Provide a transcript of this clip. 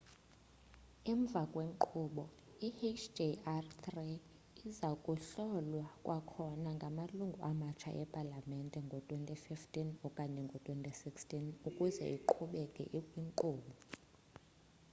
emva kwenkqubo i hjr-3 iza kuhlolwa kwakhona ngamalungu amatsha epalamente ngo-2015 okanye ngo-2016 ukuzeiqhubeke ikwinkqubo